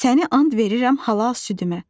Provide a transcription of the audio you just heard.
Səni and verirəm halal südümə.